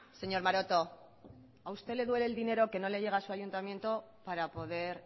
señor maroto a usted le duele el dinero que no le llega a su ayuntamiento para poder